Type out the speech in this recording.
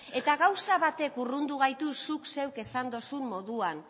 eta gauza batek urrundu gaitu zuk zeuk esan dozun moduan